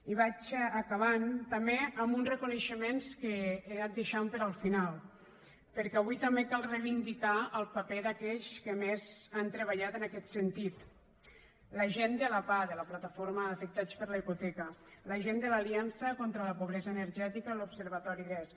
i vaig acabant també amb uns reconeixements que he anat deixant per al final perquè avui també cal reivindicar el paper d’aquells que més han treballat en aquest sentit la gent de la pah de la plataforma d’afectats per la hipoteca la gent de l’aliança contra la pobresa energètica i l’observatori desc